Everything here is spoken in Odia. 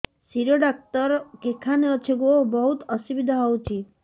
ଶିର ଡାକ୍ତର କେଖାନେ ଅଛେ ଗୋ ବହୁତ୍ ଅସୁବିଧା ହଉଚି